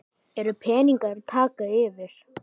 eru peningar að taka yfir?